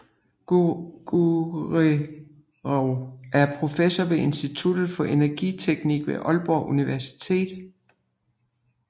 Guerrero er professor ved Institut for Energiteknik ved Aalborg Universitet